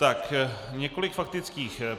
Tak několik faktických.